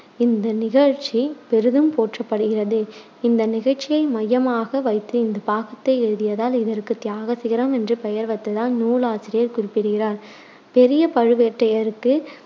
இந்த நிகழ்ச்சி பெரிதும் போற்றப்படுகிறது. இந்த நிகழ்ச்சியை மையமாக வைத்து இந்த பாகத்தை எழுதியதால் இதற்கு தியாக சிகரம் என்று பெயர் வைத்ததாய் நூல் ஆசிரியர் குறிப்பிடுகிறார். பெரிய பழுவேட்டரையருக்கு